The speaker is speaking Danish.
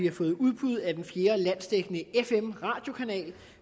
har fået udbud af den fjerde landsdækkende fm radiokanal